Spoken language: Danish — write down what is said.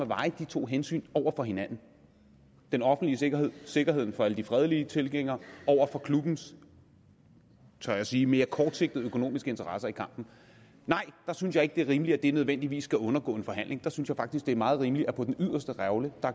veje de to hensyn over for hinanden den offentlige sikkerhed sikkerheden for alle de fredelige tilhængere over for klubbens tør jeg sige mere kortsigtede økonomiske interesser i kampen nej der synes jeg ikke at det er rimeligt at det nødvendigvis skal undergå en forhandling jeg synes faktisk at det er meget rimeligt at på den yderste revle